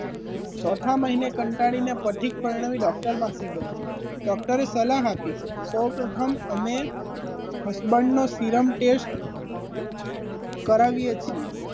ચોથા મહિને કંટાળીને પછી પરણાવી ડોક્ટર પાસે ગયા. ડોક્ટર એ સલાહ આપી સૌ પ્રથમ અમે husband નો serum test કરવી એ છીએ.